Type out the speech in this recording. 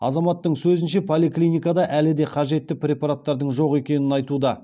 азаматтың сөзінше поликлиникада әлі де қажетті препараттардың жоқ екенін айтуда